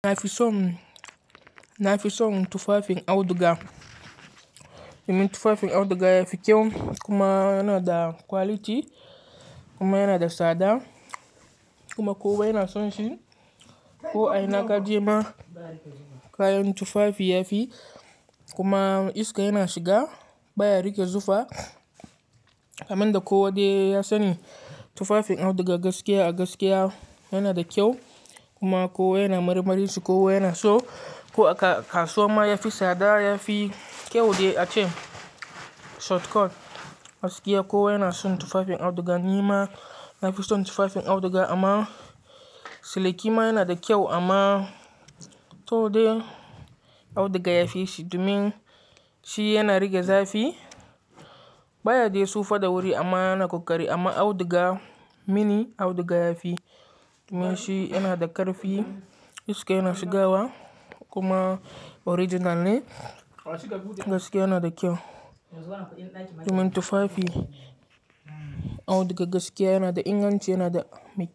Na fi son, na fi son tufafin auduga. Domin tufafin auduga yafi kyau kuma yana da quality kuma yana da tsada kuma kowa yana son shi. Ko a ina ka je ma kayan tufafi yafi kuma iska yana shiga baya rage zufa. Amin da ko wadai ya sani tufafin auduga gaskiya a gaskiya yana da kyau kuma kowa yana marimarinsa, kowa yana so. Ko a kasuwa ma yafi tsada yafi kyau de a ce shortcut gaskiya kowa yana son tufafin auduga. Ni ma na fi son tufafin auduga amma siliki ma yana da kyau amma to dai auduga yafi shi domin shi yana rage zafi baya dai tsufa da wuri amma yana kakkari. Amma auduga mini auduga yafi domin shi yana da ƙarfi iska yana shigawa kuma original ne gaskiya yana da kyau. Domin tufafi auduga gaskiya yana da inganci yana da mikiya.